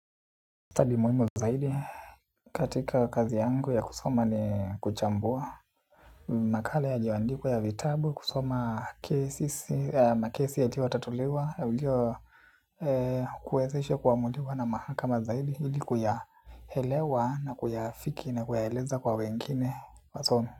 Study muhimu zaidi katika kazi yangu ya kusoma ni kuchambua. Makala yaliyoandikwa ya vitabu kusoma kesi ya makesi yaliyo tatuliwa ya ulio kuwezeshe kuamuliwa na mahakama zaidi hili kuyahelewa na kuyaafiki na kuyaeleza kwa wengine wa somo.